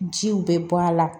Jiw bɛ bɔ a la